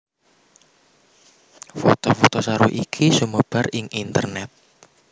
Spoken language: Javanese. Foto foto saru iki sumebar ing internet